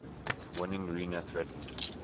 winning rene threatened